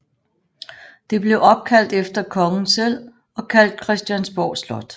Det blev opkaldt efter kongen selv og kaldt Christiansborg Slot